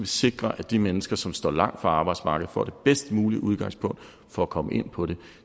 sikre at de mennesker som står langt fra arbejdsmarkedet får det bedst mulige udgangspunkt for at komme ind på det